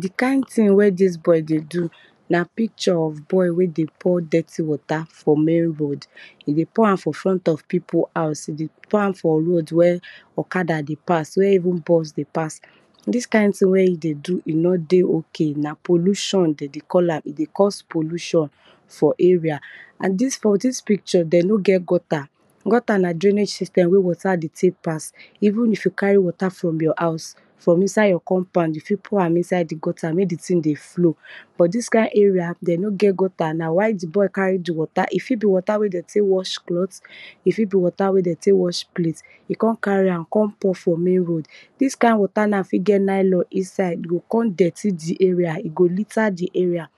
Di kind thing wey dis boy dey do na picture of boy wey de pour dirty water for main road.pour am for front of pipu house, pour am for road where okada dey pass, where even bus dey pass. Dis kind thing wen e dey do e nor dey ok na pollution de dey call am, e dy cause pollution for area. And dis picture, den no get gutter, gutter na drainage system wy water fit ven pass even if you carry water from your house from inside your compound, you fit pour am inside di gutter mek di thing dey flow but dis kin area dem no get gutter na why di boy carry di water e fit be watr wey dem tek wash cloth, e fit be water wey dem tek wash plate e kon carry am tek pour for main road.dis kind water na fit get nylon inside am e go k on dirty di area e go kon litter di area.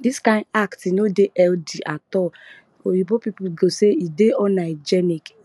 Kdis kind act e no dey healthy at all oyinbo pipu go sey e dey un- hygeic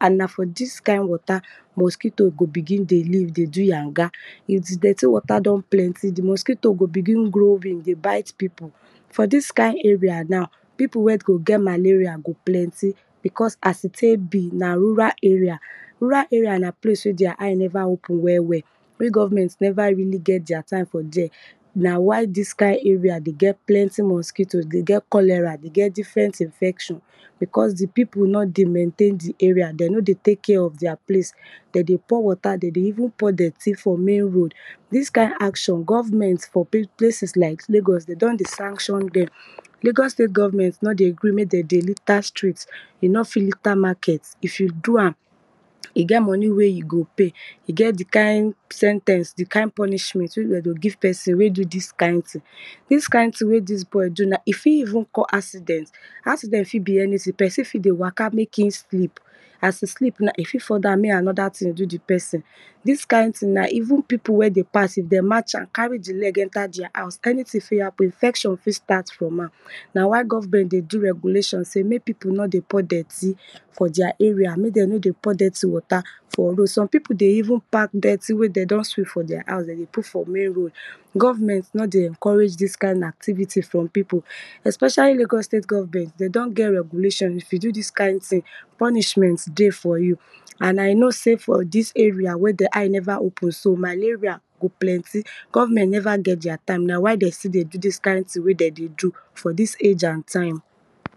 and na for dis kind water mosquito go begin dey live dey do yanga. If dirty water don plenty, di mosquito go begin grow big dey bite pipu. For dis kind area na pipu wen go get malaria go plenty because as e tek be na rural area. Rural area na place wen there eye neva open well well.even government neva even nget their time for there na why dis kind area dey get mosquito dey get cholera dey get different infection because di pipu no dey maintain di area de no dey tek care of their place de dey pour water de dey even pour dirty for main road. Dis kind action, government for places like lagos de don dey sanction dem, lagos state goveenment nor dey gree mek dem dey liter street, you nor fit liter market if you do am, e get moni wey you go pay, e get di kind sen ten ce di kind punishment wey de go give pesin wey do dis kind thing. Dis kind thing ey de dey do fit even cause accident. Accident fit be anything, pesin fit dey waka mek e slip as e sleep na e fit fall down mek anoda thing do di pesin. Dis kind ting na even pipu wen dey pass if den match am carry di leg enter their house, anything fit happen infection fit start from there na why government dey do regulation sey mek pipu nor dey pour dirty for their area, mek dem no dey pour dirty water for road. Some pipu dey even pack dirty wey de don dweep for their house de dey put for main road. Government nor dey encourage dis kind activity from pipu especialy lagos state government de don get regulation if tyou do dis kind thing punishment dey for you and I know sey for dis area wen den eye neva open so, malarial go plenty. Government neva et their time na why de still dey do dis kind thing for dis age and time.